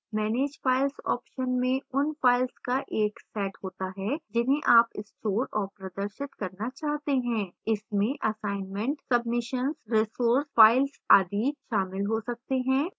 manage files option में उन files का एक set होता है जिन्हें आप store और प्रदर्शित करना चाहते हैं इसमें assignment submissions resource files आदि शामिल हो सकते हैं